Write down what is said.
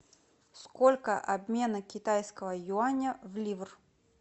сколько обмена китайского юаня в ливр